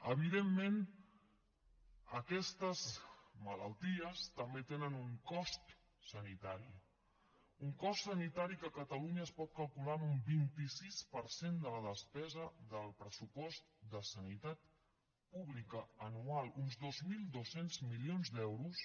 evidentment aquestes malalties també tenen un cost sanitari un cost sanitari que a catalunya es pot calcular en un vint sis per cent de la despesa del pressupost de sanitat pública anual uns dos mil dos cents milions d’euros